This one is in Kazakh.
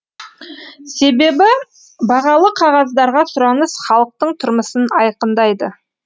себебі бағалы қағаздарға сұраныс халықтың тұрмысын айқындайды